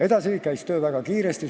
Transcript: Edasi läks töö väga kiiresti.